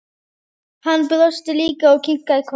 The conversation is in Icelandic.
Hann brosti líka og kinkaði kolli.